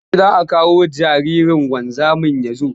Yaushe za a kawo jaririn wanzamin ya zo?